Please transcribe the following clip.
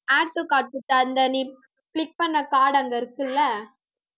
add to cart கிட்ட அந்த நீ click பண்ண card அங்க இருக்குல்ல